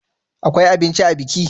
Akwai abinci a biki?